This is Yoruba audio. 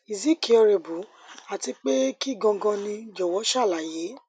is é curable àti pé kín ganan ni jọwọ ṣàlàyé